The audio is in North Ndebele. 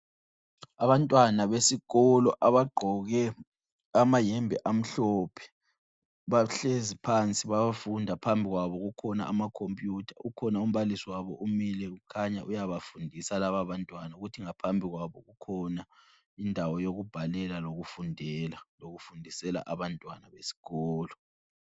Abantwana besikolo abagqoke amayembe amhlophe bahlezi phansi bayafunda phambi kwabo kukhona amakhompiyutha kukhona umbalisi wabo umile kukhanya uyabafundisa laba bantwana kuthi ngaphambi kwabo kukhona indawo yokubhalela lokufundela lokufundisela abantwana besikolo.